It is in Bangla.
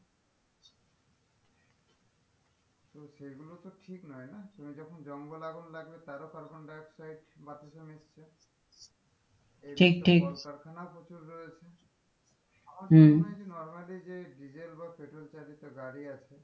তো সেই গুলোতো ঠিক নই না তুমি যখন জঙ্গলে আগুন লাগবে তারও carbon dioxide বাতাসে মিশছে ঠিক ঠিক কলকারখানা প্রচুর রয়েছে হম normally যে ডিজেল বা পেট্রোল চালিত গাড়ি আছে,